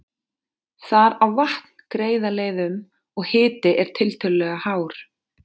Þar á vatn greiða leið um, og hiti er tiltölulega hár.